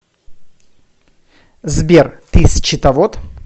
сбер ты счетовод